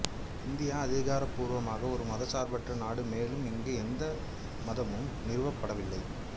India அதிகாரப்பூர்வமாக ஒரு மதச்சார்பற்ற நாடு மேலும் இங்கு எந்த மதமும் நிறுவப்படவில்லை